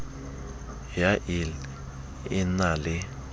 ya ill e na le